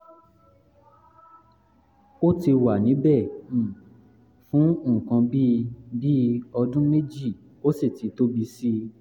ó ti wà níbẹ̀ um fún nǹkan bí bí ọdún méjì ó sì ti tóbi sí i